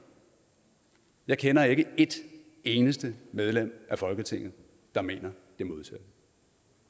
jeg kender ikke et eneste medlem af folketinget der mener